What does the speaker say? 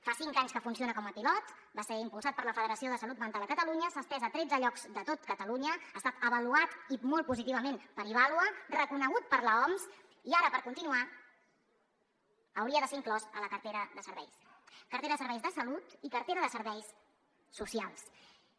fa cinc anys que funciona com a pilot va ser impulsat per la federació de salut mental a catalunya s’ha estès a tretze llocs de tot catalunya ha estat avaluat i molt positivament per ivàlua reconegut per l’oms i ara per continuar hauria de ser inclòs a la cartera de serveis cartera de serveis de salut i cartera de serveis socials